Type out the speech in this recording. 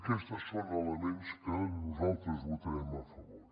aquests són elements que nosaltres votarem a favor